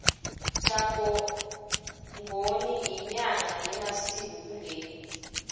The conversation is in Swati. jagongoni inyanga yemasiko kuleli